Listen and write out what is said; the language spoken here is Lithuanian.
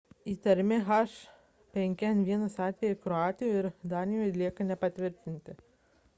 įtariami h5n1 atvejai kroatijoje ir danijoje lieka nepatvirtinti